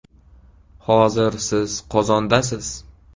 Hozir siz Qozondasiz.